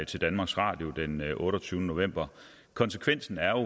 til danmarks radio den otteogtyvende november konsekvensen er